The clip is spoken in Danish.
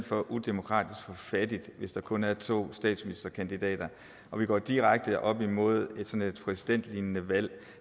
for udemokratisk og for fattigt hvis der kun er to statsministerkandidater vi går direkte op imod sådan et præsidentlignende valg